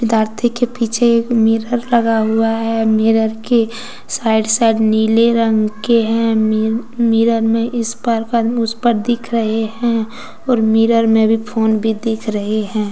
विद्यार्थी के पीछे एक मिरर लगा हुआ है मिरर के साइड साइड नीले रंग के हैं मि मिरर में इस पार का आदमी उस पार दिख रहे हैं और मिरर में भी फोन भी दिख रहे हैं ।